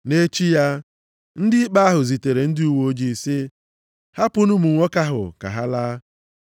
Nʼechi ya, ndị ikpe ahụ zitere ndị uweojii sị, “Hapụnụ ụmụ nwoke ahụ ka ha laa.”